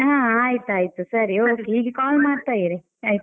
ಹಾ ಆಯ್ತಾಯ್ತು ಸರಿ okay ಹೀಗೆ call ಮಾಡ್ತಾ ಇರಿ ಆಯ್ತಾ.